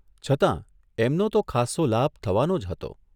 છતાં એમનો તો ખાસ્સો લાભ થવાનો જ હતો !